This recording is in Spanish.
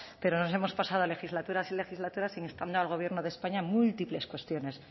pero nos hemos pasado legislaturas y legislaturas instando al gobierno de españa múltiples cuestiones